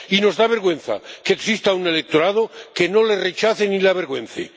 Y nos da vergüenza que exista un electorado que no le rechace ni le avergüence.